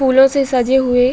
फूलों से सजे हुए --